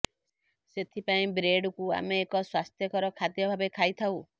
ସେଥିପାଇଁ ବ୍ରେଡ୍କୁ ଆମେ ଏକ ସ୍ୱ୍ୟାସ୍ଥ୍ୟକର ଖାଦ୍ୟ ଭାବେ ଖାଇଥାଉ